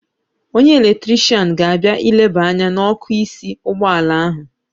Onye eletrishian ga-abịa ileba anya n'ọ́kụ́ísí ụgbọala ahụ.